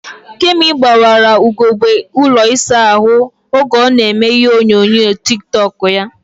Kemi gbawara ugegbe ụlọ isa ahụ ahụ oge ọ na eme ihe onyonyo tik tọk ya